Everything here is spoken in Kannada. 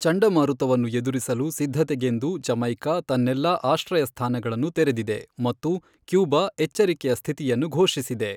ಚಂಡಮಾರುತವನ್ನು ಎದುರಿಸಲು ಸಿದ್ಧತೆಗೆಂದು ಜಮೈಕಾ ತನ್ನೆಲ್ಲಾ ಆಶ್ರಯಸ್ಥಾನಗಳನ್ನು ತೆರೆದಿದೆ ಮತ್ತು ಕ್ಯೂಬಾ ಎಚ್ಚರಿಕೆಯ ಸ್ಥಿತಿಯನ್ನು ಘೋಷಿಸಿದೆ.